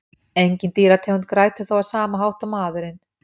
Engin dýrategund grætur þó á sama hátt og maðurinn.